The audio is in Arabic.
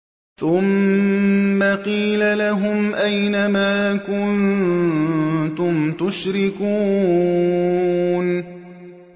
ثُمَّ قِيلَ لَهُمْ أَيْنَ مَا كُنتُمْ تُشْرِكُونَ